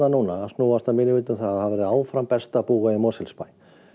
snúast að mínu mati um að það verði áfram besta að búa í Mosfellsbæ